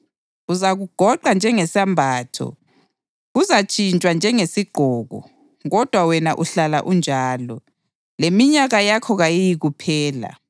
Uzakugoqa njengesembatho; kuzantshintshwa njengesigqoko. Kodwa wena uhlala unjalo, leminyaka yakho kayiyikuphela.” + 1.12 AmaHubo 102.25-27